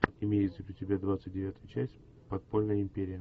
имеется ли у тебя двадцать девятая часть подпольная империя